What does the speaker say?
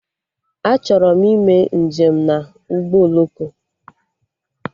Achọrọ m ime njem na ụgbọ oloko